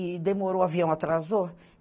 E demorou, o avião atrasou.